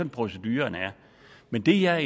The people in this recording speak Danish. proceduren er men det er